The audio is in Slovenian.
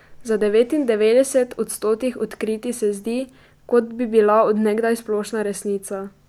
Za devetindevetdeset od stotih odkritij se zdi, kot bi bila od nekdaj splošna resnica!